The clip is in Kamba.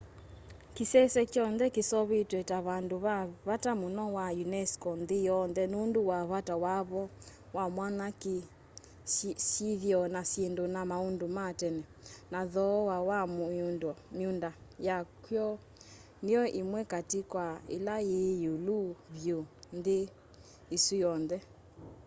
kĩsese kyonthe kĩseũvĩtw'e ta vandũ va vata mũno va unesco nthĩ yonthe nũndũ wa vata wavo wa mwanya kĩ syĩthĩo na syĩndu na maũndũ ma tene na thooa wa mĩũnda yaky'o nĩyo ĩmwe katĩ kwa ĩla yĩ ĩũlu vyũ nthĩ ĩsu yonthe